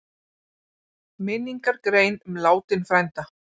Minningargrein um látinn frænda?